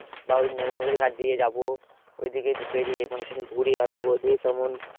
বা ওই নদীর ঘাট দিয়ে যাবো ঐদিকে বেরিয়ে মানে সেদিন ঘুরে আসবো। যে কেমন